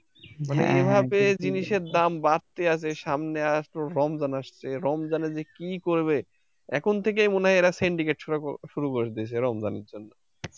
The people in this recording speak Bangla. এ ভাবে জিনিসের দাম বাড়তে আছে সামনে আছে রমজান আসছে রমজানে যে কি করবে এখন থেকেই মনে হয় এরা syndicate করা শুরু করে দিয়েছে রমজানে